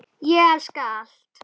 Ég elska allt.